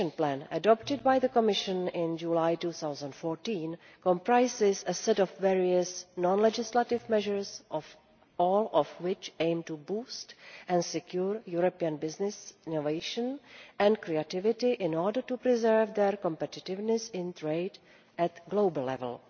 The Action Plan adopted by the Commission in July 2014 comprises various non legislative measures, all of which aim to boost and secure European businesses' innovation and creativity in order to preserve their competitiveness in trade at global level.